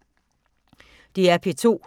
DR P2